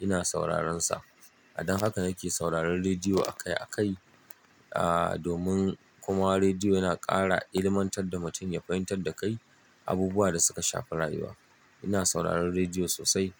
ina sauraron sa. A dan haka nake sauraron rediyo akai akai, ah domin kuma rediyo yana ƙara ilmantar da mutum ya fahimtar da kai abubuwa da suka shafa rayuwa. Ina sauraron rediyo sosai.